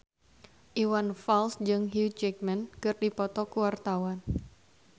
Iwan Fals jeung Hugh Jackman keur dipoto ku wartawan